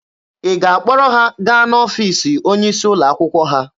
Ị ga-akpọrọ ha gaa n'ọfiisi onye isi ụlọ akwụkwọ ha?